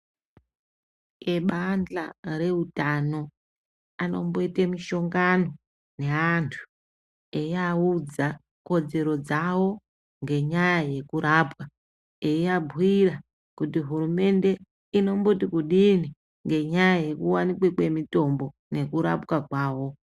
Ibanhla reutano anomboita mishongano neantu eyiaudza kodzero dzawo ngenyaya yekurapwa eyiabhuyira kuti hurumende inomboti kudini ngenyaya yekuwanikwa kwemitombo nekurapwa kwavo.